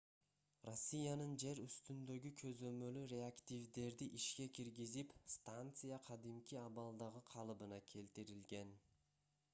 россиянын жер үстүндөгү көзөмөлү реактивдерди ишке киргизип станция кадимки абалдагы калыбына келтирилген